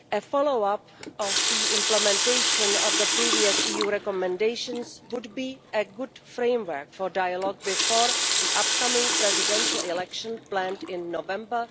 Follow up to the implementation of the previous EU recommendations would be a good framework for dialogue before the upcoming presidential election planned for November